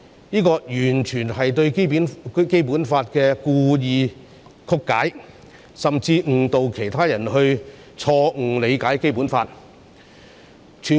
這完全是對《基本法》故意曲解，甚至誤導其他人錯誤理解《基本法》。